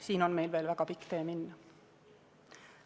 Siin on meil veel väga pikk tee minna.